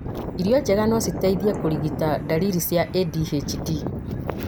irio njega no citeithie kũrigita ndariri cia ADHD